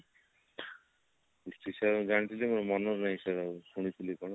history sir ଜାଣିଛି ଯେ ମୋର ମାନେ ନାହିଁ ସେଗୁଡା ଆଉ ଶୁଣିଥିଲି